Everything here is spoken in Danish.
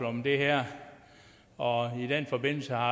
om det her og i den forbindelse har